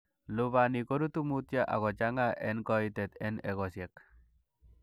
Lubanik korutu mutyo ak kochang'a en koitet en egosiek.